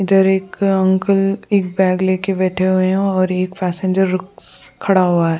इधर एक अ अंकल एक बैग लेकर बैठे हुए हैं और एक पैसेंजर रुक स खड़ा हुआ है।